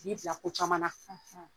K'i bila ko caman na .